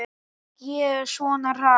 Ók ég svona hratt?